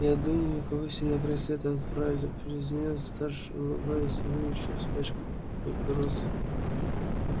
а я думаю кого сегодня на край света отправили произнёс старший улыбаясь и выбивая из пачки папиросу